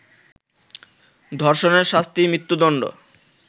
ধর্ষণের শাস্তি মৃত্যুদণ্ড